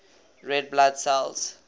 red blood cells